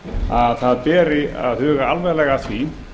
að það beri að huga alvarlega að því